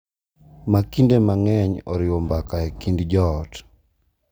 Ma kinde mang’eny oriwo mbaka e kind joot .